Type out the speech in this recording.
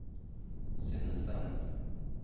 Synne Stene